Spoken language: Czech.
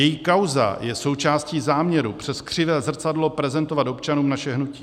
Její kauza je součástí záměru přes křivé zrcadlo prezentovat občanům naše hnutí.